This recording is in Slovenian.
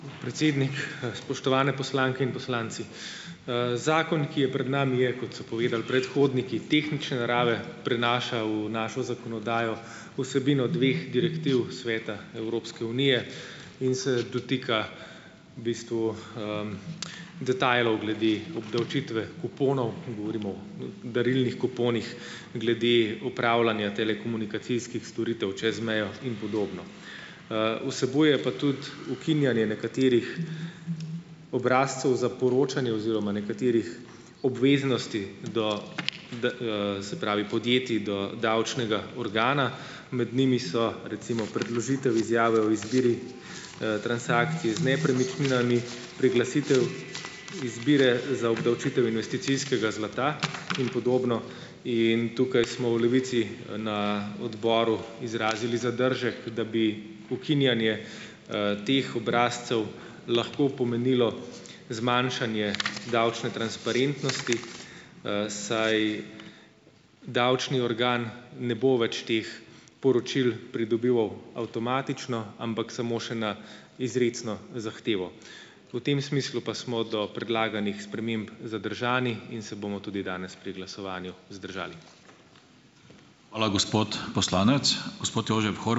Predsednik, spoštovane poslanke in poslanci! Zakon, ki je pred nami je, kot so povedali predhodniki, tehnične narave, prenaša v našo zakonodajo vsebino dveh direktiv Sveta Evropske unije in se dotika v bistvu, detajlov glede obdavčitve kuponov. Govorimo o darilnih kuponih glede upravljanja telekomunikacijskih storitev čez mejo in podobno. Vsebuje pa tudi ukinjanje nekaterih obrazcev za poročanje oziroma nekaterih obveznosti do de, se pravi, podjetij do davčnega organa. Med njimi so recimo predložitev izjave o izbiri. transakcij z nepremičninami, priglasitev izbira za obdavčitev investicijskega zlata in podobno in tukaj smo v Levici, na odboru izrazili zadržek, da bi ukinjanje, teh obrazcev lahko pomenilo zmanjšanje davčne transparentnosti, saj davčni organ ne bo več teh poročil pridobival avtomatično, ampak samo še na izrecno zahtevo. V tem smislu pa smo do predlaganih sprememb zadržani in se bomo tudi danes pri glasovanju vzdržali.